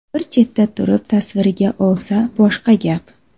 Bir chetda turib tasvirga olsa boshqa gap.